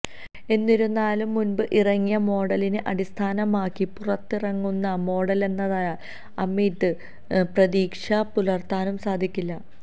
എന്നിരുന്നാലും മുൻപ് ഇറങ്ങിയ മോഡലിനെ അടിസ്ഥാനമാക്കി പുറത്തിറങ്ങുന്ന മോഡലെന്നതിനാൽ അമിത പ്രതീക്ഷ പുലർത്താനും സാധിക്കില്ല